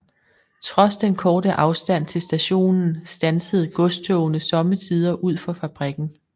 Trods den korte afstand til stationen standsede godstogene sommetider ud for fabrikken